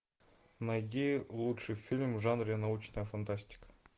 найди лучший фильм в жанре научная фантастика